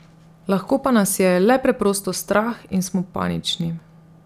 Lahko pa nas je le preprosto strah in smo panični.